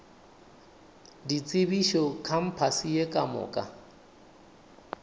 ditsebišo kampase ye ka moka